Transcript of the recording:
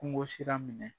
Kungo sira minɛ